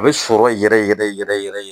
A bɛ sɔrɔ yɛrɛ yɛrɛ yɛrɛ yɛrɛ yɛrɛ